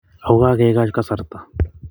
Ako kakekoi kasarta.